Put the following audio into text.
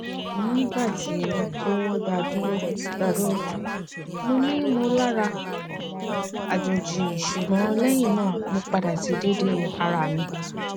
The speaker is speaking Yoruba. nigba ti o daduro daduro monimolara ajoji sugbon lehina mo pada si dede ara mi